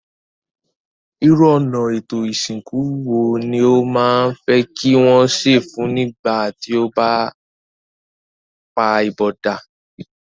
Irú ọ̀nà étò ìsìnkú wo ni o ma fe ki wón se fun o nígbà ti o ba pa ipòdà?